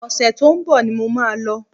Ọ̀sẹ̀ tó ń bọ̀ ni mo máa lọ